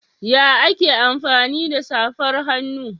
Ya ake amfani da safar hannu?